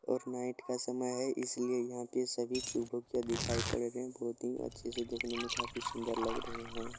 और नाइट का समय है इसलिए यहाँ के सभी दिखाई पड़ रहे है बहोत ही अच्छी से देखने में काफी सुंदर लग रहे है।